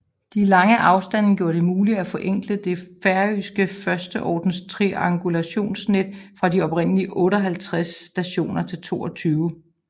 De lange afstande gjorde det muligt at forenkle det færøske førsteordens triangulationsnet fra de oprindelige 58 stationer til 22